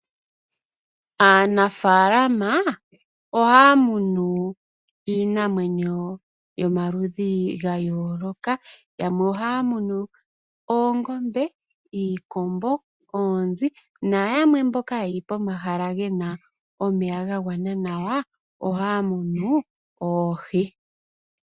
Aanafalama ohaya munu iinamwenyo yomaludhi ga yooloka yamwe ohaya munu oongombe, iikombo, oonzi na yamwe mboka ye li pomahala ge na omeya ga gwana nawa ohaya munu oohi.